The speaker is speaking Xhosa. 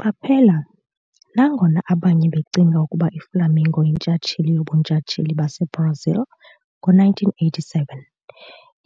Qaphela- nangona abanye becinga ukuba iFlamengo yintshatsheli yoBuntshatsheli baseBrazil ngo-1987,